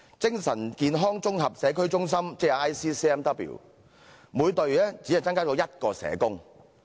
精神健康綜合社區中心每隊只增加1名社工。